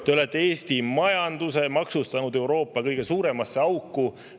Te olete Eesti majanduse maksustanud Euroopa kõige suuremasse auku.